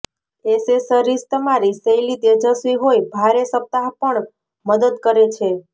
accessories તમારી શૈલી તેજસ્વી હોઈ ભારે સપ્તાહ પણ મદદ કરે છે